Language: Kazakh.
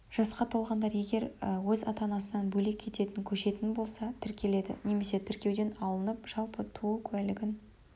жасқа толғандар егер өз ата-анасынан бөлек кететін көшетін болса тіркеледі немесе тіркеуден алынып жалпы туу куәлігін